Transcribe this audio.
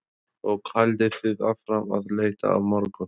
Þórhildur Þorkelsdóttir: Og haldið þið áfram að leita á morgun?